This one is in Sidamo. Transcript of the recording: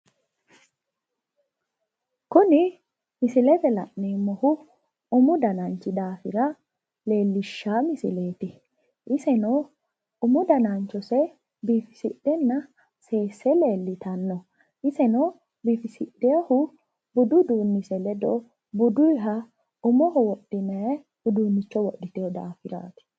Kuni misilete la’neemmohu umu dananchi daafira leellishshanno misileeti, iseno umu dananchose biifisidhenna seesse leellitanno. Iseno biifisidhewohu budu uduunnise ledo buduyiiha umoho wodhinayha uduunnicho wodhitewo daafiraati.